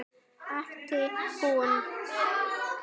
æpti hún.